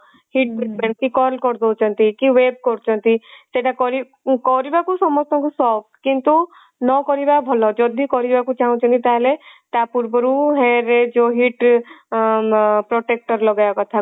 heat break କି curl କରିଦଉଛନ୍ତି କିe କରୁଛନ୍ତି ସେଟା କରି କରିବାକୁ ସମସ୍ତଙ୍କୁ ସକ୍ କିନ୍ତୁ ନ କରିବା ଭଲ ଯଦି କରିବାକୁ ଚାହୁଞ୍ଚନ୍ତି ତାହେଲେ ତା ପୂର୍ବରୁ hair ରେ ଯଉ heat ଅ protector ଲଗେଇବା କଥା